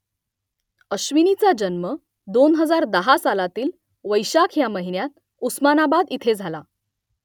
अश्विनीचा जन्म दोन हजार दहा सालातील वैशाख ह्या महिन्यात उस्मानाबाद इथे झाला